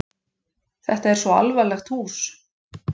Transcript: Þetta er svo alvarlegt hús.